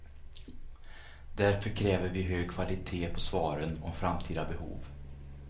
Därför kräver vi hög kvalitet på svaren om framtida behov.